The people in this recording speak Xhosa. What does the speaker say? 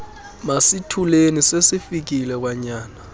masithuleni sesifikile kwanyana